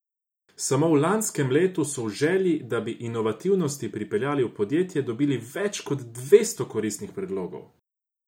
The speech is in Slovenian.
Samo v lanskem letu so v želji, da bi inovativnost pripeljali v podjetje, dobili več kot devetsto koristnih predlogov.